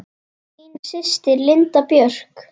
Þín systir, Linda Björk.